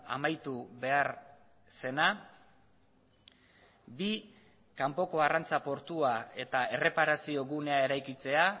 amaitu behar zena bi kanpoko arrantza portua eta erreparazio gunea eraikitzea